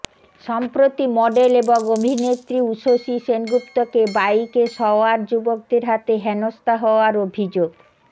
সম্প্রতি মডেল এবং অভিনেত্রী ঊসষী সেনগুপ্তকে বাইকে সওয়ার যুবকদের হাতে হেনস্থা হওয়ার অভিযোগ